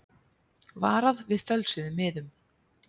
Varað við fölsuðum miðum